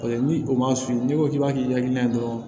Paseke ni o ma f'i ye n'i ko k'i b'a kɛ hakilina ye dɔrɔn